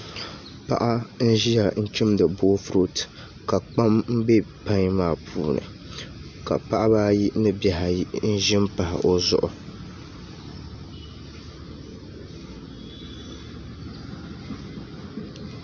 Paɣa n ʒiya n chumdi boofurooto ka kpam bɛ pai maa puuni ka paɣaba ayi ni bihi ayi n ʒi n pahi o zuɣu